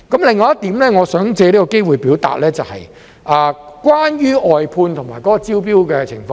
另外一點，我想借這個機會表達，就是關於外判及招標的情況。